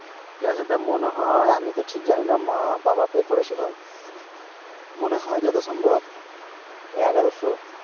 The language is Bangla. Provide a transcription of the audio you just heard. গ্যাসের দাম মনে হয় মিতো জানিনা। মা বাবা Pay করেছিল। মনে হয় যথা সম্ভব এগারশ।